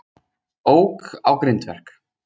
Ók á grindverk